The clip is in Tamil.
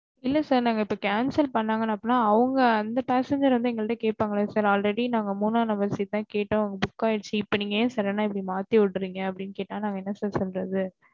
இல்ல sir நாங்க இப்ப cancel பண்ணுனாங்க அப்டின்னா அவங்க அந்த passenger வந்து என்கிட்ட கேப்பாங்கள siralready நாங்க மூணா number seat தான் கேட்டோம் ஆன book ஆகிடுச்சு நீங்க ஏன் sudden ன்னா நீங்க மாத்தி விடுறேங்கன்னு கேட்ட நாங்க என்ன sir சொல்லுறது